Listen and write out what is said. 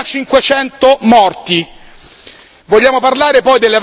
Quest'anno l'hanno già pagato duemilacinquecento morti.